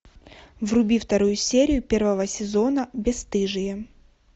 вруби вторую серию первого сезона бесстыжие